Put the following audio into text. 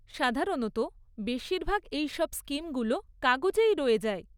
সাধারণত বেশিরভাগ এইসব স্কিমগুলো কাগজেই রয়ে যায়।